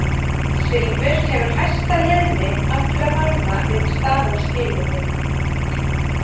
Silfur hefur hæsta leiðni allra málma við staðalskilyrði.